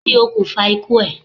Kí ni okùnfà ikú ẹ̀?